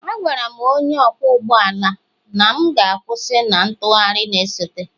Agwara m onye ọkwọ ụgbọ ala na m ga-kwusi na ntụgharị na-esote,